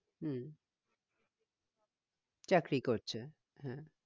হম চাকরি করছে হ্যাঁ